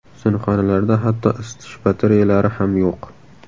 Sinfxonalarda hatto isitish batareyalari ham yo‘q.